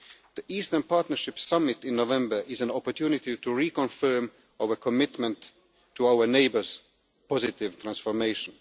The Eastern Partnership Summit in November is an opportunity to reconfirm our commitment to our neighbours' positive transformation.